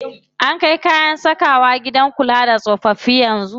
An kai kayan sakawa gidan kula da tsofaffi yanzu.